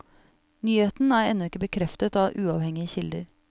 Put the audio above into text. Nyheten er ennå ikke bekreftet av uavhengige kilder.